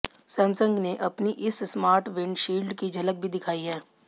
Samsung ने अपनी इस स्मार्ट विंड शील्ड की झलक भी दिखाई है